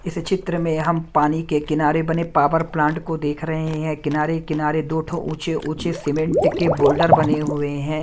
इस चित्र में हम पानी के किनारे बने पावर प्लांट को देख रहे हैं किनारे-कनारे दो ठो ऊंचे ऊंचे सीमेंट के बोर्डर बने हुए है।